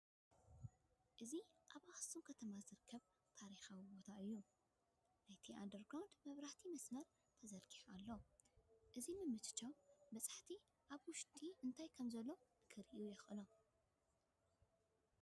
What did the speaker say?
እዚ ኣብ ኣኽሱም ከተማ ዝርከብ ታሪካዊ ቦታ እዩ፡፡ ናብቲ ኣንደርግራውንድ ናይ መብራህቲ መስመር ተዘርጊሑሉ ኣሎ፡፡ እዚ ምምችቻው በፃሕቲ ኣብቲ ውሽጢ እንታይ ከምዘሎ ንክርእዩ የኽእሎም፡፡